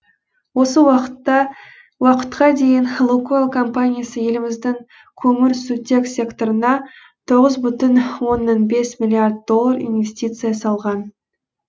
осы уақытқа дейін лукойл компаниясы еліміздің көмірсутек секторына тоғыз бүтін оннан бес миллиард доллар инвестиция салған